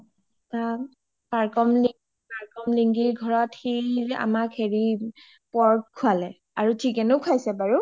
তাত টাৰ্কিন লিঙ্গি ঘৰত সি আমাক হেৰি pork খোৱালে আৰু chicken ও খোৱাছে বাৰু